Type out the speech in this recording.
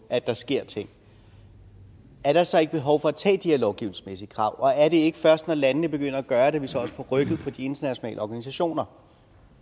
at der sker ting er der så ikke behov for de her lovgivningsmæssige krav og er det ikke først når landene begynder at gøre det at vi så også får rykket på de internationale organisationer